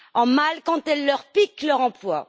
en mal, quand elle leur pique leur emploi.